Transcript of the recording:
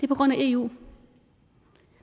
på grund af eu